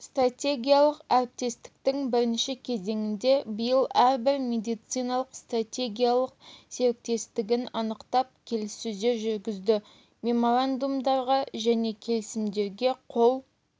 стратегиялық әріптестіктің бірінші кезеңінде биыл әрбір медициналық стратегиялық серіктестігін анықтап келіссөздер жүргізді меморандумдарға және келісімдерге қол